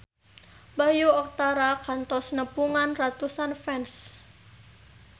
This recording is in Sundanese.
Bayu Octara kantos nepungan ratusan fans